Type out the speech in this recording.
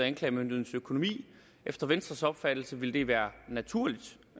anklagemyndighedens økonomi efter venstres opfattelse ville det være naturligt